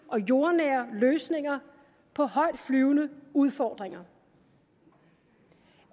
og jordnære løsninger på højtflyvende udfordringer